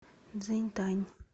цзиньтань